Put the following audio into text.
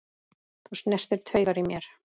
Þú snertir taugar í mér.